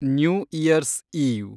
new year's eve